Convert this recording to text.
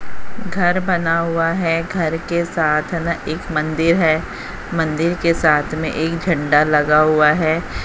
घर बना हुआ है घर के साथ ना एक मंदिर है मंदिर के साथ में एक झंडा लगा हुआ है।